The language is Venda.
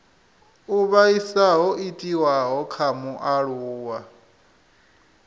u vhaisa ho itiwaho kha mualuwa